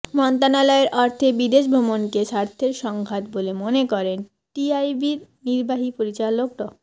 মন্ত্রণালয়ের অর্থে বিদেশ ভ্রমণকে স্বার্থের সংঘাত বলে মনে করেন টিআইবির নির্বাহী পরিচালক ড